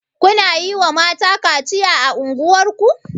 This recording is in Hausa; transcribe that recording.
Kuna yiwa mata kaciya a unguwar ku.